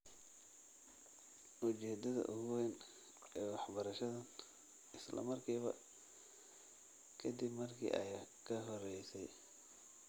Ujeedada ugu weyn ee waxbarashadan, isla markiiba ka dib markii ay ka horeysay.